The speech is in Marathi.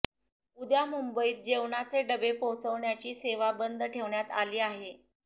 उद्या मुंबईत जेवणाचे डबे पोचवण्याची सेवा बंद ठेवण्यात आली आहे